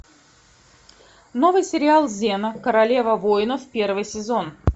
новый сериал зена королева войнов первый сезон